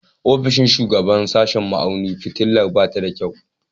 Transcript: Ofishin shugaban sashen ma'auni fitilar ba ta da kyau